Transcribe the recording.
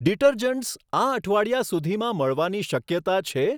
Detergents આ અઠવાડિયા સુધીમાં મળવાની શક્યતા છે?